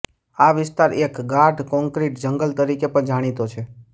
આ વિસ્તાર એક ગાઢ કોન્ક્રીટ જંગલ તરીકે પણ જાણીતો છે